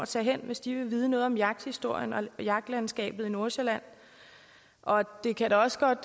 tage hen hvis de vil vide noget om jagthistorien og jagtlandskabet i nordsjælland og det kan da også godt